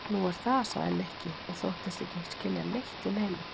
Nú, er það? sagði Nikki og þóttist ekki skilja neitt í neinu.